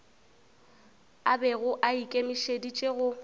a bego a ikemišeditše go